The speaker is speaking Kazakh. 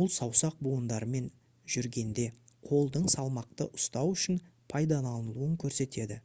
бұл саусақ буындарымен жүргенде қолдың салмақты ұстау үшін пайдаланылуын көрсетеді